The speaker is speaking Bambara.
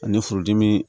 Ani furudimi